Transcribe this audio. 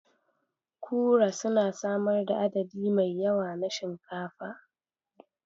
Kura suna samar da adadi mai yawa na shinkafa.